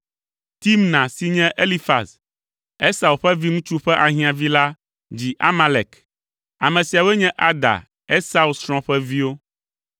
Timna si nye Elifaz, Esau ƒe viŋutsu ƒe ahiãvi la dzi Amalek. Ame siawoe nye Ada, Esau srɔ̃ ƒe viwo.